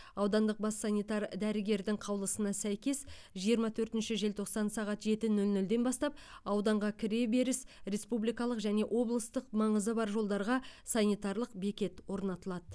аудандық бас санитар дәрігердің қаулысына сәйкес жиырма төртінші желтоқсан сағат жеті нөл нөлден бастап ауданға кіреберіс республикалық және облыстық маңызы бар жолдарға санитарлық бекет орнатылады